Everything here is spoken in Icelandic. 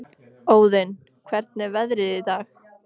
Óðinn, hvernig er veðrið í dag?